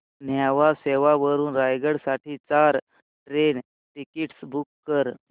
न्हावा शेवा वरून रायगड साठी चार ट्रेन टिकीट्स बुक कर